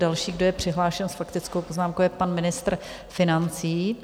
Další, kdo je přihlášen s faktickou poznámkou, je pan ministr financí.